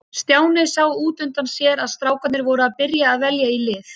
Stjáni sá út undan sér að strákarnir voru að byrja að velja í lið.